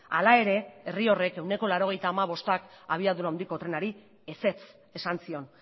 hala ere herri horrek ehuneko laurogeita bostak abiadura handiko trenari ezetz esan zion